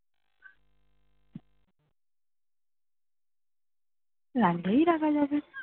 লাগলেই রাখা যাবে